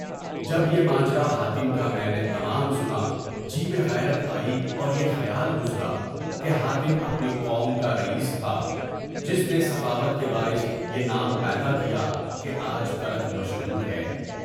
جب یہ ماجرا حاتم کا میں نے تمام حالات سنا تو مجھے غیرت آئی اور یہ خیال گزرا کہ حاتم اپنی قوم کا رئیس تھا، جس نے سخاوت کے باعث یہ نام پیدا کیا کہ آج تک مشہور ہے۔